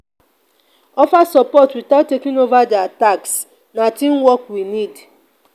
offer support without taking over their tasks; na teamwork we need.